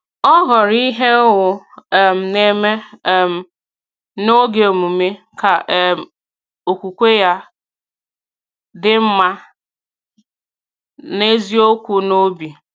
Ọ họrọ ihe ọ um na-eme um n’oge emume, ka um okwukwe ya dị mma na eziokwu n’obi.